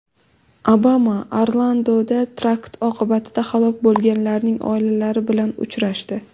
Obama Orlandoda terakt oqibatida halok bo‘lganlarning oilalari bilan uchrashdi.